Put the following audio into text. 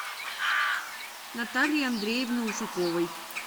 натальи андреевны ушаковой